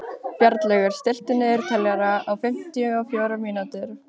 Bjarnlaugur, stilltu niðurteljara á fimmtíu og fjórar mínútur.